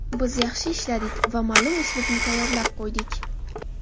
Biz yaxshi ishladik va ma’lum uslubni tayyorlab qo‘ydik.